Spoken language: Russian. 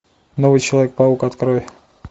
новый человек паук открой